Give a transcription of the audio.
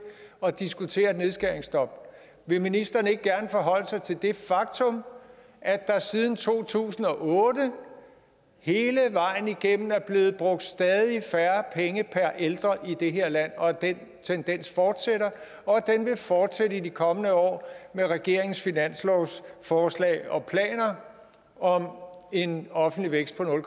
at diskutere et nedskæringsstop vil ministeren ikke gerne forholde sig til det faktum at der siden to tusind og otte hele vejen igennem er blevet brugt stadig færre penge per ældre i det her land og at den tendens fortsætter og at den vil fortsætte i de kommende år med regeringens finanslovsforslag og planer om en offentlig vækst på nul